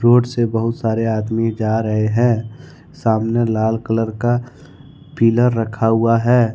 Road से बहुत सारे आदमी जा रहे हैं सामने लाल कलर का पिलर रखा हुआ है।